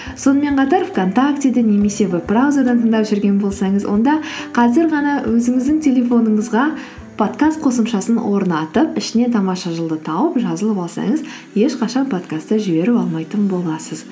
сонымен қатар вконтактеден немесе веб браузерден тыңдап жүрген болсаңыз онда қазір ғана өзіңіздің телефоныңызға подкаст қосымшасын орнатып ішінен тамаша жыл ды тауып жазылып алсаңыз ешқашан подкастты жіберіп алмайтын боласыз